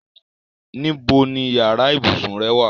Níbo ni yàrá ibùsùn rẹ́ wà?